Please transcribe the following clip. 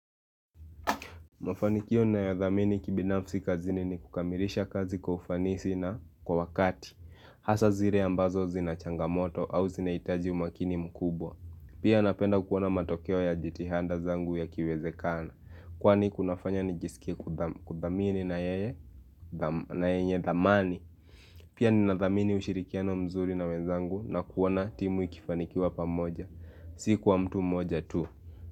Mafanikio nayodhamini kibinafsi kazini ni kukamilisha kazi kwa ufanisi na kwa wakati Hasa zile ambazo zina changamoto au zinaitaji umakini mkubwa Pia napenda kuona matokeo ya jitihada zangu yakiwezekana Kwani kunafanya nijiskie kudhamini na yenye zamani Pia ninadhamini ushirikiano mzuri na wenzangu na kuona timu ikifanikiwa pa moja Si kwa mtu mmoja tu.